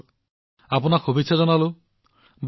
ঠিক আছে মই আপোনাক শুভকামনা জনাইছো